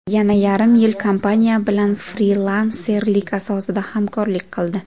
Yana yarim yil kompaniya bilan frilanserlik asosida hamkorlik qildi.